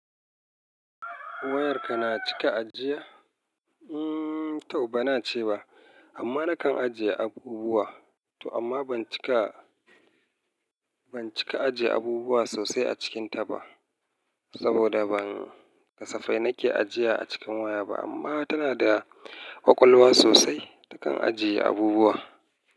Wayarka na cika ajiya? Hmm, to bana cewa amma nakan ajiye abubuwa. To amma ban cika, ban cika ajiye abubuwa sosai a cikin ta ba saboda ban kasafai nake ajiya a cikin waya ba amma tana da ƙwaƙwalwa sosai, ta kan ajiye abubuwa.